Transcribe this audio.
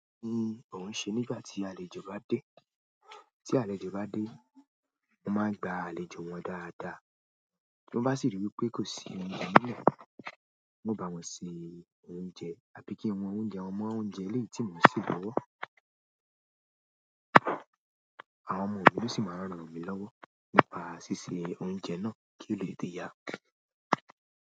Kí ni òun ṣe nígbà tí àlejò bá dé? Tí àlejò bá dé, mo máa n gba àlejò wọn dáadáa. Tin bá sì rí pé kò sí oúnjẹ nílé, uno báwọn ṣe oúnjẹ àbí kí wọ́n oúnjẹ, wọn mọ oúnjẹ elei tí mo n se lọ́wọ́. Àwọn ọmọ mi sì máa ranmi lọ́wọ́ nípa ṣíṣe oúnjẹ náà kí ó le tètè yá.